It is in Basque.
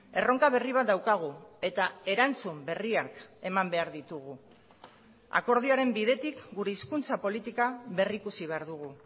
erronka berri bat daukagu eta erantzun berriak eman behar ditugu akordioaren bidetik gure hizkuntza politika berrikusi behar dugu